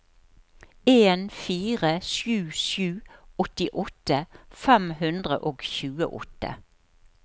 en fire sju sju åttiåtte fem hundre og tjueåtte